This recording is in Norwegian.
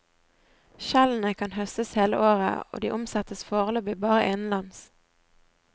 Skjellene kan høstes hele året og de omsettes foreløpig bare innenlands.